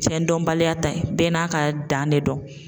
Fɛn dɔnbaliya ta ye bɛɛ n'a ka dan ne don.